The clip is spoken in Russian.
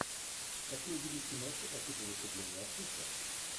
хочу увидеть киношку по типу выступления артиста